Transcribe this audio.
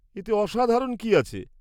এতে অসাধারণ কি আছে?